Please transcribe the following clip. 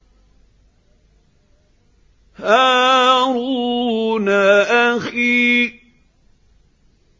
هَارُونَ أَخِي